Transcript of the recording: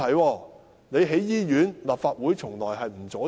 政府要興建醫院，立法會從來不會阻止。